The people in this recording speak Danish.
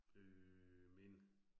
Øh men